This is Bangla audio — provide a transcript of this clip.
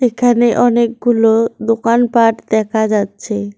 এখানে অনেকগুলো দোকানপাট দেখা যাচ্ছে।